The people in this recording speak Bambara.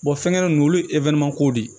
fɛngɛ ninnu olu ye ko de ye